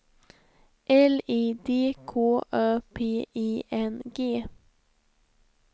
L I D K Ö P I N G